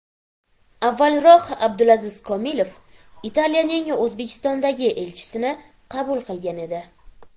Avvalroq Abdulaziz Komilov Italiyaning O‘zbekistondagi elchisini qabul qilgan edi .